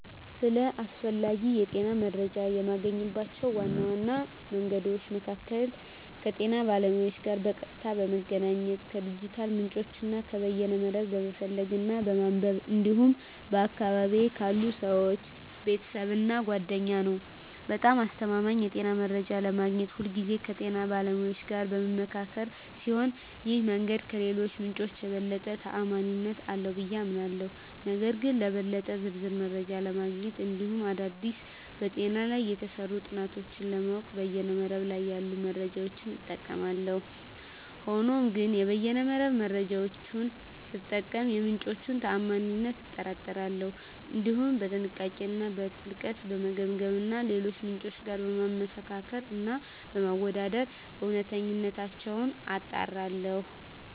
ስለ አስፈላጊ የጤና መረጃን የማገኝባቸው ዋና መንገዶች መካከል ከጤና ባለሙያዎች ጋር በቀጥታ በመገናኘት፣ ከዲጂታል ምንጮች እና ከበይነ መረብ በመፈለግ እና በማንበብ እንዲሁም በአካባቢየ ካሉ ሰወች፣ ቤተሰብ እና ጓደኛ ነዉ። በጣም አስተማማኝ የጤና መረጃ ለማግኘት ሁልጊዜ ከጤና ባለሙያዎች ጋር በምመካከር ሲሆን ይህ መንገድ ከሌሎቹ ምንጮች የበለጠ ተአማኒነት አለው ብየ አምናለሁ። ነገር ግን ለበለጠ ዝርዝር መረጃ ለማግኘት እንዲሁም አዳዲስ በጤና ላይ የተሰሩ ጥናቶችን ለማወቅ በይነ መረብ ላይ ያሉ መረጃዎችን እጠቀማለሁ። ሆኖም ግን የበይነ መረብ መረጃወቹን ስጠቀም የምንጮቹን ታአማኒነት አጣራለሁ፣ እንዲሁም በጥንቃቄ እና በጥልቀት በመገምገም እና ከሌሎች ምንጮች ጋር በማመሳከር እና በማወዳደር እውነተኝነታቸውን አጣራለሁ።